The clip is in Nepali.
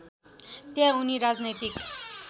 त्यहाँ उनी राजनैतिक